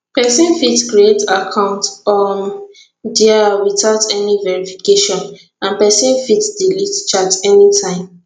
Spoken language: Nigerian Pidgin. pesin fit create account um dia witout any verification and pesin fit delete chats anytime